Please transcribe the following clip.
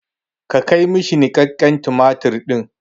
Ka kai ma shi niƙaƙƙen tumatir ɗin!